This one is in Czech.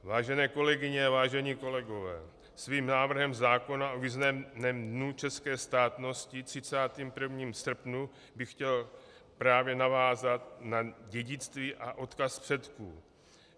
Vážené kolegyně a vážení kolegové, svým návrhem zákona o významném dnu české státnosti 31. srpnu bych chtěl právě navázat na dědictví a odkaz předků.